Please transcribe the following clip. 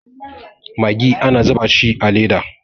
magi ana zuba shi a Leda